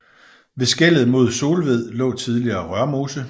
Ved skellet mod Solved lå tidligere Rørmose